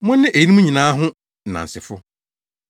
Mone eyinom nyinaa ho nnansefo.